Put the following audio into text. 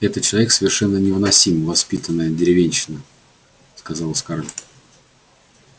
этот человек совершенно невыносим невоспитанная деревенщина сказала скарлетт